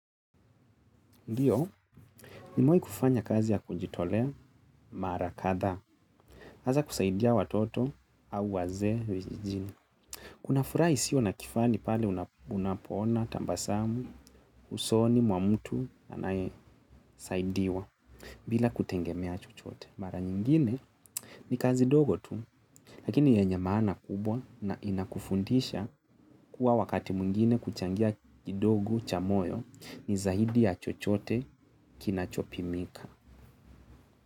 Ndiyo, nimewai kufanya kazi ya kujitolea mara kadhaa. Hasa kusaidia watoto au waze vijijini. Kuna furaha isiyo na kifani pale unapoona, tabasamu, usoni, mwa mutu, anaye saidiwa bila kutegemea chochote. Mara nyingine ni kazi dogo tu, lakini yenye maana kubwa na inakufundisha kuwa wakati mwingine kuchangia kidogo cha moyo ni zaidi ya chochote kinachopimika.